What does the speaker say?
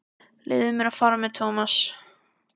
Leyfðu mér að fara með Thomas.